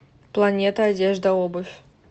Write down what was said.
планета одежда обувь